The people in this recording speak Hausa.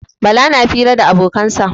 Bala na fira da abokansa.